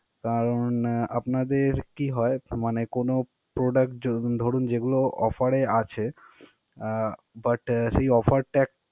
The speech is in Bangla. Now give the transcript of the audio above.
কারণ আপনাদের কি হয়, মানে কোনো product য~ ধরুন যেগুলো offer এ আছে আহ but সেই offer টা